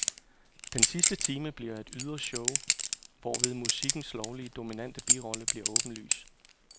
Den sidste time bliver et ydre show, hvorved musikkens lovlig dominante rolle bliver åbenlys.